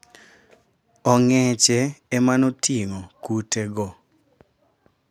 Ong'eche emanoting'o kute go.